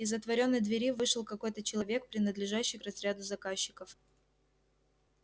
из отворённой двери вышел какой-то человек принадлежащий к разряду заказчиков